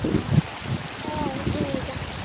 ਆਹੋ ਠੀਕ ਆ